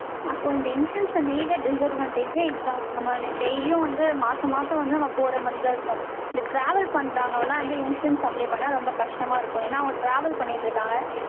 அப்போ, இந்த insurance அ, main ஆ, disadvantage ஏ இதுதான். நம்ம, daily யும் வந்து, மாசம், மாசம் வந்து, நம்ம போற மாரிதான், இருக்கும். இந்த, travel பண்றவங்கெல்லாம், வந்து, insurance, apply பண்ணா, ரொம்ப கஷ்டமா இருக்கும். ஏன்னா, அவங்க, travel பண்ணிட்டு இருக்காங்க.